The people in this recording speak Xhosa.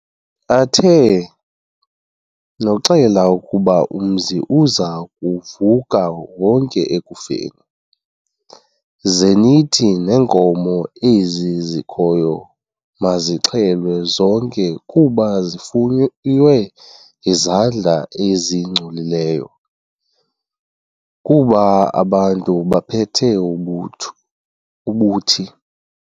Athe, "Noxela ukuba umzi uza kuvuka wonke ekufeni, zenithi neenkomo ezi zikhoyo mazixhelwe zonke kuba zifuywe ngezandla ezingcolileyo, kuba abantu baphethe ubuthi."